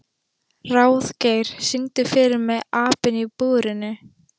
Ráðgeir, syngdu fyrir mig „Apinn í búrinu“.